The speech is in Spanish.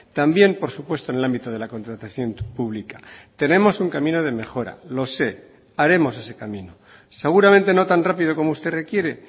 también por supuesto en el ámbito de la contratación pública tenemos un camino de mejora lo sé haremos ese camino seguramente no tan rápido como usted requiere